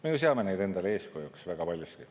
Me ju seame neid endale eeskujuks väga paljuski.